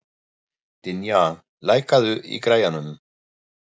Dynja, lækkaðu í græjunum.